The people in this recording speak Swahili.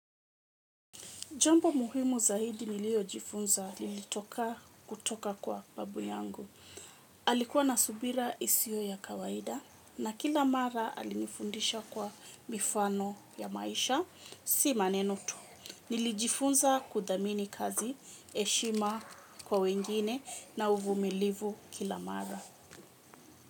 Jambo muhimu zaidi nililojifunza, lilitoka kutoka kwa babu yangu. Alikuwa na subira isio ya kawaida na kila mara alinifundisha kwa mifano ya maisha si maneno tu. Nilijifunza kuthamini kazi, heshima kwa wengine na uvumilivu kila mara.